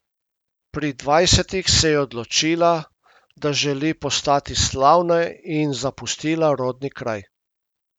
Pri dvajsetih se je odločila, da želi postati slavna in zapustila rodni kraj.